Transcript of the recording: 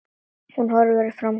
Hún horfir framhjá honum.